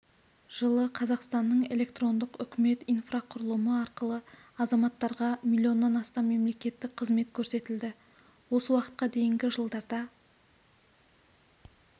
жылы қазақстанның электрондық үкімет инфрақұрылымы арқылы азаматтарға миллион астам мемлекеттік қызмет көрсетілді осы уақытқа дейінгі жылдарда